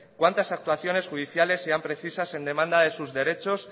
cuantas actuaciones judiciales sean precisas en demanda de sus derechos